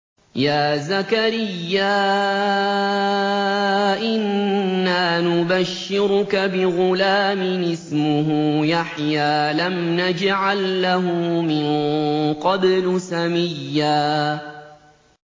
يَا زَكَرِيَّا إِنَّا نُبَشِّرُكَ بِغُلَامٍ اسْمُهُ يَحْيَىٰ لَمْ نَجْعَل لَّهُ مِن قَبْلُ سَمِيًّا